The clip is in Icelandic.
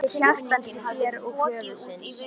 Til hjartans í þér og höfuðsins.